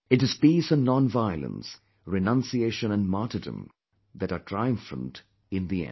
It is peace and nonviolence, renunciation and martyrdom that are triumphant in the end